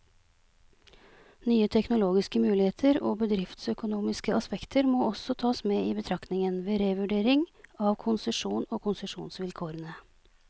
Nye teknologiske muligheter og bedriftsøkonomiske aspekter må også tas med i betraktningen, ved revurdering av konsesjonen og konsesjonsvilkårene.